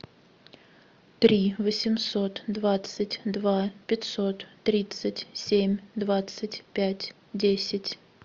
три восемьсот двадцать два пятьсот тридцать семь двадцать пять десять